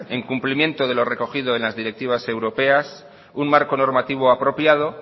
en cumplimiento de lo recogido en las directivas europeas un marco normativo apropiado